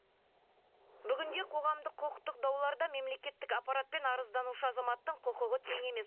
бүгінде қоғамдық құқықтық дауларда мемлекеттік аппарат пен арызданушы азаматтың құқығы тең емес